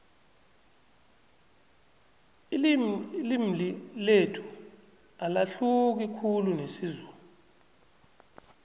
ililmi lethu alahluki khulu nesizulu